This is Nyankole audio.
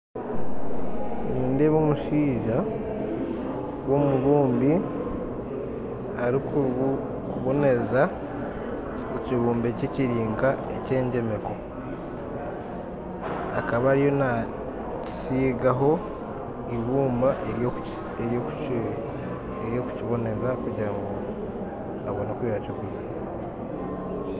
Nindeeba omushaija w'omubumbi arikuboneza ekibumbe kye kiri nka engyemeko. Akaba ariyo nakisigaho ibumba eryokukiboneza kugira ngu abone oku yakiguza